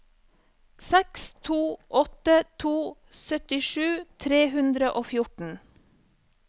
seks to åtte to syttisju tre hundre og fjorten